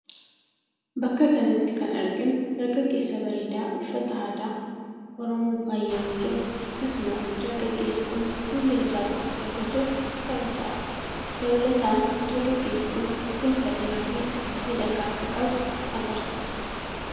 Bakka kanatti kan arginu dargaggeessa bareeda uffata aadaa Oromoon faayamee jiru akkasumas dargaggeessi kun fuullee ijaa godhatee akka jiru ta'uu isaati. Dabalataan dargaggeessi kun rifeensa dheeraa fi miidhagaa akka qabu agarsiisa.